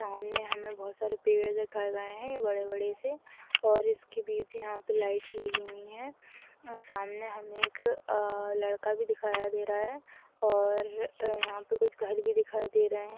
सामने हमें बहोत सारे पेड़ दिखाए गए हैं बड़े-बड़े से और उसके बीच यहाँ पे लाइट लगी हुई हैं और सामने हमें एक आ लड़का भी दिखाया दे रहा हैं और यहाँ पर कुछ घर भी दिखाई दे रहे हैं।